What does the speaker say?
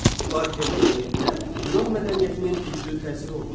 Parfiya mədəniyyətinə Yunan mədəniyyətinin güclü təsiri olmuşdur.